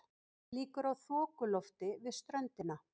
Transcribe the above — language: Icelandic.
Líkur á þokulofti við ströndina